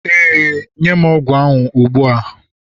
Ee, nye m ogwu ahụ ugbua